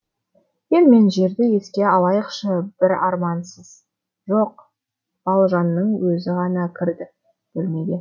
ел мен жерді еске алайықшы бір армансыз жоқ балжанның өзі ғана кірді бөлмеге